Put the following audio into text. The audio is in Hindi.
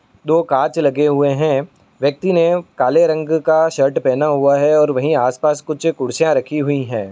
दो कांच लगे हुए है। व्यक्ति ने काले रंग का शर्ट पहना हुआ है। वहीं आस पास कुछ कुर्सियां रखी हुई है।